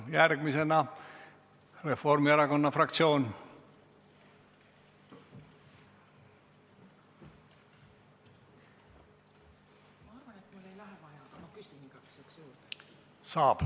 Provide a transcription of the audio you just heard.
Järgmisena palun Signe Kivi, Reformierakonna fraktsioon!